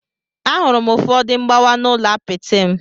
Ahụrụ m ụfọdụ mgbawa n'ụlọ apịtị m.